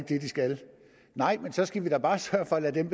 det de skal nej men så skal vi da bare sørge for at lade dem